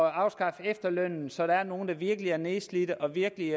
at afskaffe efterlønnen så der er nogle der virkelig er nedslidte og virkelig